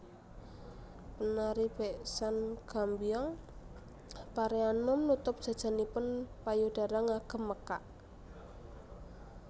Penari beksan Gambyong Pareanom nutup jajanipun payudara ngagem mekak